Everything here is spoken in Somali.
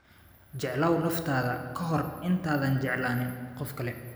Jeclow naftaada ka hor inta aadan jeclayn qofka kale